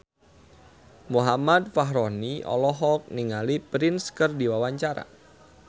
Muhammad Fachroni olohok ningali Prince keur diwawancara